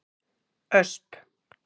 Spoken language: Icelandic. Ösp